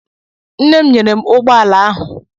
Nne m nyere m ụgbọala ahụ.